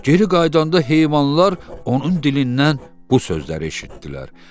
Geri qayıdanda heyvanlar onun dilindən bu sözləri eşitdilər: